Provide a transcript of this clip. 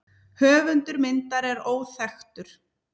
Höfundur myndar er óþekktur.